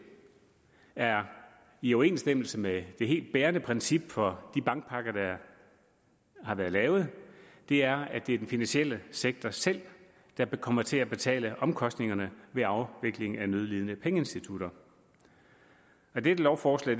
er i overensstemmelse med det helt bærende princip for de bankpakker der har været lavet det er at det er den finansielle sektor selv der kommer til at betale omkostningerne ved afvikling af nødlidende pengeinstitutter dette lovforslag